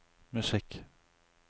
musikk